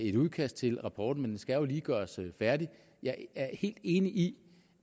et udkast til rapporten men den skal jo lige gøres færdig jeg er helt enig i